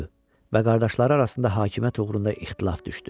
Və qardaşları arasında hakimiyyət uğrunda ixtilaf düşdü.